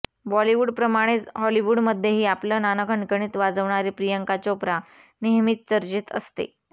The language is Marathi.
बॉलिवूडप्रमाणेच हॉलिवूडमध्येही आपलं नाणं खणखणीत वाजवणारी प्रियांका चोप्रा नेहमीच चर्चेत असते